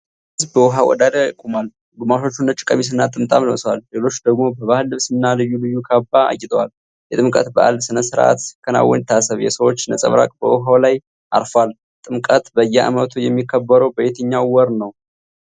ትልቅ ሕዝብ በውኃ ዳር ቆሟል። ግማሾቹ ነጭ ቀሚስና ጥምጣም ለብሰዋል። ሌሎች ደግሞ በባህል ልብስና ልዩ ልዩ ካባ አጊጠዋል። የጥምቀት በዓል ሥነ ሥርዓት ሲከናወን ይታሰብ። የሰዎች ነጸብራቅ በውኃው ላይ አርፏል። ጥምቀት በየዓመቱ የሚከበረው በየትኛው ወር ነው?